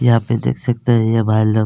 यहाँ पे देख सकते है ये भाई लोग--